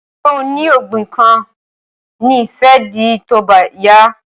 Ṣé oní ògbìn kan ni ẹ fẹ́ dì tóbá yá